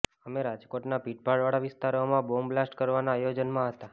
અમે રાજકોટના ભીડભાડવાળા વિસ્તારોમાં બોમ્બ બ્લાસ્ટ કરવાના આયોજનમાં હતાં